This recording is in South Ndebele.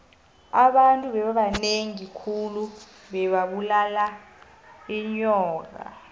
abantu bebabanengi khulu bebabulala inyoka